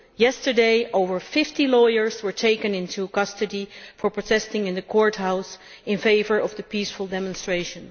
Yesterday over 50 lawyers were taken into custody for protesting in the courthouse in favour of the peaceful demonstrators.